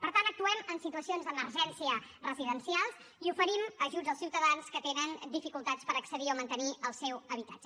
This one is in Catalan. per tant actuem en situacions d’emergència residencial i oferim ajuts als ciutadans que tenen dificultats per accedir o mantenir el seu habitatge